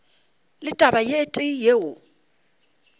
le taba e tee yeo